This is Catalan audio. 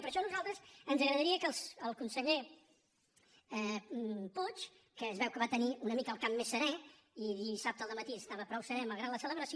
per això a nosaltres ens agradaria que el conseller puig que es veu que va tenir una mica el cap més serè i dissabte al dematí estava prou serè malgrat la celebració